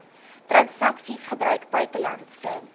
transaksies gebruik buitelandse